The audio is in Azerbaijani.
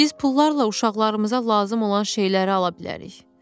Biz pullarla uşaqlarımıza lazım olan şeyləri ala bilərik.